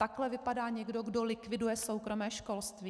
Takhle vypadá někdo, kdo likviduje soukromé školství?